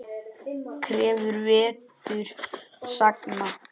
Krefur vetur sagna.